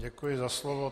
Děkuji za slovo.